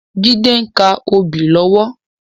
Jide n ká óbì lòwò